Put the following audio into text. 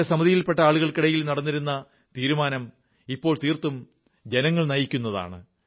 നേരത്തെ സമിതിയിൽ പെട്ട ആളുകൾക്കിടയിൽ നടന്നിരുന്ന തീരുമാനം ഇപ്പോൽ തീർത്തും ജനങ്ങൾ നയിക്കുന്നതാണ്